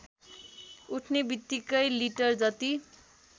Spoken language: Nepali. उठ्ने बित्तिकै लिटरजति